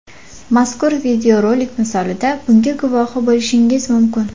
Mazkur videorolik misolida bunga guvohi bo‘lishingiz mumkin.